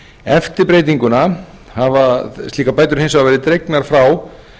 eftir breytinguna hafa slíkar bætur hins vegar verið dregnar frá